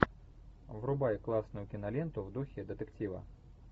врубай классную киноленту в духе детектива